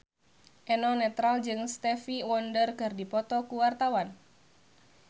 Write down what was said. Eno Netral jeung Stevie Wonder keur dipoto ku wartawan